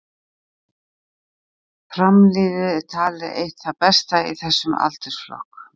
Fram-liðið er talið eitt það besta í þessum aldursflokki.